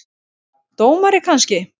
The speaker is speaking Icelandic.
Dómari kannski?